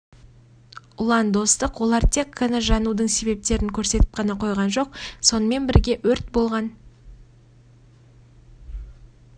ұлан достық олар тек қана жанудың себептерін көрсетіп қана қойған жоқ сонымен бірге өрт болған